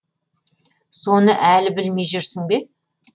соны әлі білмей жүрсің бе